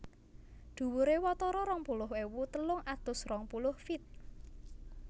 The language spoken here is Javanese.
Dhuwuré watara rong puluh ewu telung atus rong puluh feet